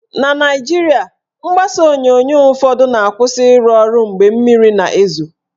Na Naijiria, mgbasa onyonyo ụfọdụ na-akwụsị ịrụ ọrụ mgbe mmiri na-ezo